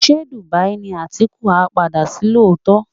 Ṣé Dubai ni Atiku á padà sí lóòótọ́?